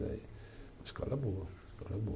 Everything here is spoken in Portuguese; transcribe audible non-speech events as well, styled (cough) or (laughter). (unintelligible) Uma escola boa, uma escola boa.